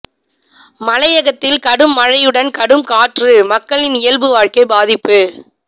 மலையகத்தில் கடும் மழையுடன் கடும் காற்று மக்களின் இயல்பு வாழ்க்கை பாதிப்பு